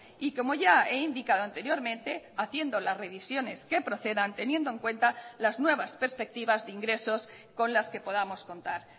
y como ya he indicado anteriormente haciendo las revisiones que procedan teniendo en cuenta las nuevas perspectivas de ingresos con las que podamos contar